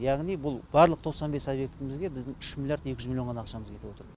яғни бұл барлық тоқсан бес объектімізге біздің үш миллиард екі жүз миллион ғана ақшамыз кетіп отыр